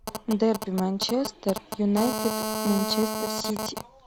дерби манчестер юнайтед манчестер сити